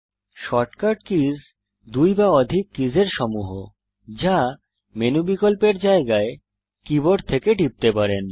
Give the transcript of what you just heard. shortcut keys দুই বা অধিক কিস এর সমূহ যা মেনু বিকল্পের জায়গায় কীবোর্ড থেকে টিপতে পারেন